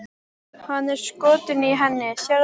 Hann er skotinn í henni, sérðu það ekki?